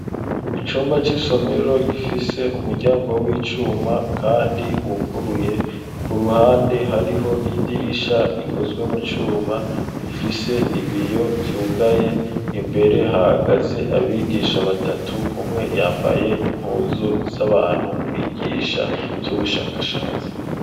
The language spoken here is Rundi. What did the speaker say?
Icumba c'isomero, gifise umuryango w'icuma, kandi wuguruye; ku ruhande, hariho idirisha, rikozwe mu cuma, rifise ibiyo vyugaye; imbere, hahagaze abigisha batatu; umwe, yambaye impuzu, z'abantu bigisha, ivy'ubushakashatsi.